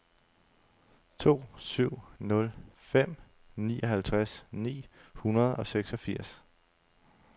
to syv nul fem nioghalvtreds ni hundrede og seksogfirs